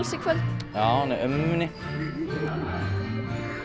í kvöld já henni ömmu minni